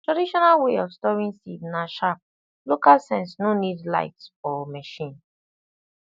traditional way of storing seed na sharp local sense no need light or machine